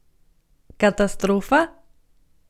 Katastrofa?